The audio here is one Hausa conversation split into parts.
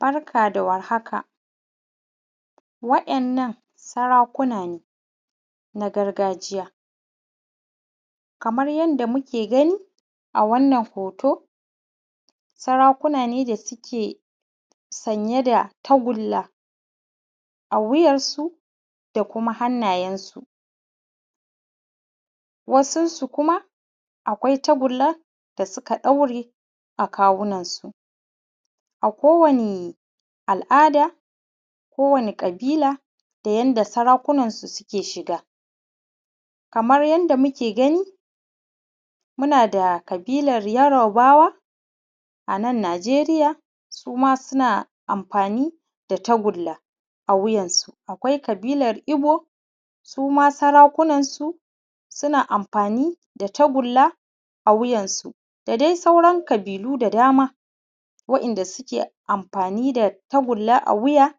Barka da war haka wa’innan sarakuna ne na gargajiya kamar yadda muke gani a wannan hoto sarakuna ne da suke sanye da tagulla a wuyarsu da kuma hannayensu. Wasun su kuma akwai tagullan da suka ɗauri a kawunansu. A kowane al’ada, kowane ƙabila, da yadda sarakunan su suke shiga. Kamar yadda muke gani muna da ƙabilar yarubawa a nan Najeriya, suma suna amfani da tagulla a wuyarsu, akwai kabilar ibo, suma sarakunan su suna amfani da tagulla a wuyarsu ,da dai sauran ƙabilu da dama wa’inda suke amfani da tagulla a wuya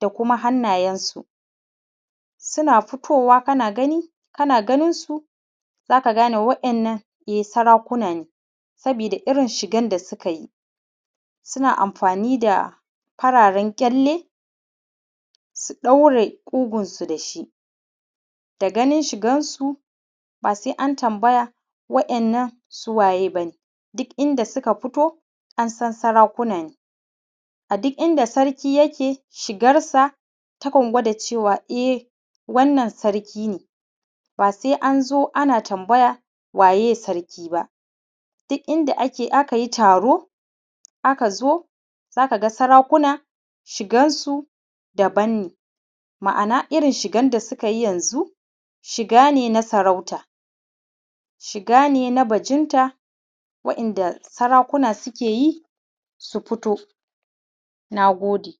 da kuma hannayensu. Suna futowa kana gani, kana ganin su zaka gane wa’innan e sarakuna ne. Sabida irin shigan da suka yi, suna amfani da fararan ƙyalle su ɗaure ƙugunsu da shi. Da ganin shigan su ba sai an tambaya wa’innan su waye ba ne. Duk inda suka fito an san sarakuna ne, a duk inda sarki yake shigarsa takan gwada cewa e wannan sarki ne. ba sai an zo ana tambaya waye sarki ba. Duk inda akai taro aka zo, za ka ga sarakuna shigan su daban ne. Ma’ana irin shigan da suka yi yanzu shiga ne na sarauta, shiga ne na bajinta wa’inda sarakuna suke yi su fito. Nagode.